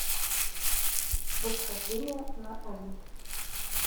восхождение на олимп